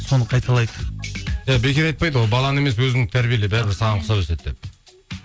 соны қайталайды иә бекер айтпайды ғой баланы емес өзіңді тәрбиеле бәрібір саған ұқсап өседі деп